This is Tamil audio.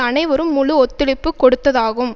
அனைவரும் முழு ஒத்துழைப்பு கொடுத்ததாகும்